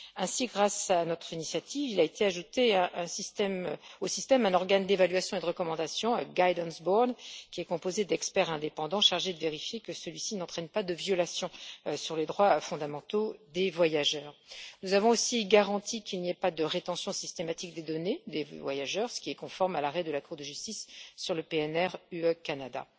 Ainsi, grâce à notre initiative, il a été ajouté au système un organe d'évaluation et de recommandation, un guidance board qui est composé d'experts indépendants chargés de vérifier que celui ci n'entraîne pas de violation des droits fondamentaux des voyageurs. Nous avons aussi garanti qu'il n'y ait pas de rétention systématique des données des voyageurs, ce qui est conforme à l'arrêt de la Cour de justice sur l'accord PNR UE Canada.